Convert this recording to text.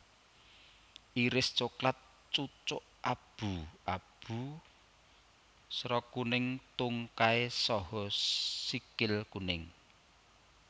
Iris coklat cucuk abu abu sera kuning tungkai saha sikil kuning